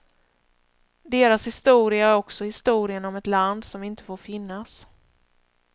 Deras historia är också historien om ett land som inte får finnas.